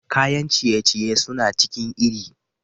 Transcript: Kayan ciye-ciye suna cikin iri.